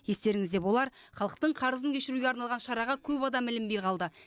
естеріңізде болар халықтың қарызын кешіруге арналған шараға көп адам ілінбей қалды